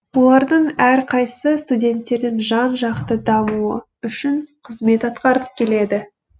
олардың әрқайсысы студенттердің жан жақты дамуы үшін қызмет атқарып келеді